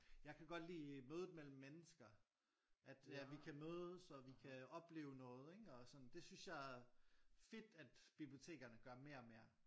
Jeg kan godt lide mødet mellem mennesker at vi kan mødes og vi kan opleve noget ikke og sådan det synes jeg er fedt at bibliotekerne gør mere og mere